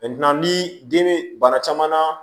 ni den be bana caman na